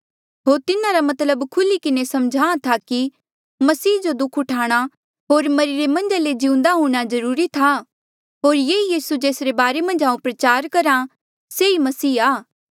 होर तिन्हारा मतलब खुल्ही किन्हें समझाहां था कि मसीह जो दुःख उठाणा होर मरिरे मन्झा ले जिउंदे हूंणां जरूरी था होर ये ई यीसू जेसरे बारे मन्झ हांऊँ प्रचार करहा से ही मसीह आ